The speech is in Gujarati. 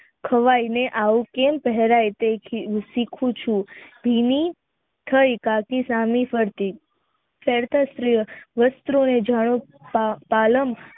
આવું કેમ થવાય તેથી હું શીખું છું હમ થઈ કાકી